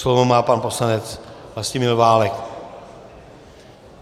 Slovo má pan poslanec Vlastimil Válek.